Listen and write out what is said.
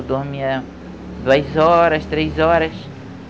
Dormia duas horas, três horas.